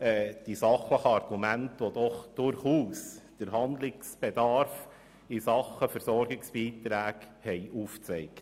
Die sachlichen Argumente haben doch den Handlungsbedarf in Sachen Versorgungsbeiträge aufgezeigt.